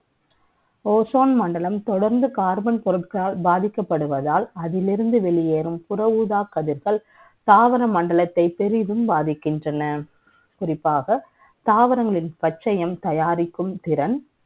Ozone மண்டலம் தொடர்ந்து Carbon பொருட்களால் பாதிக்கப்படுவதால் அதிலிருந்து வெளிவரும் புற ஊதா கதிர்கள் தாவர மண்டலத்தை பெரிதும் பாதிக்கின்றன குறிப்பாக தாவரங்களின் பச்சையும் தயாரிக்கும் திறன்